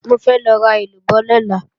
Mo fẹ́ lọ ra èlúbọ́ lọ́la